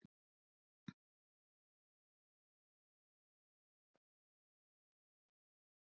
Margt hrófatildrið hefur þér verið reist af drýldninni einni saman.